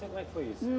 Como é que foi isso?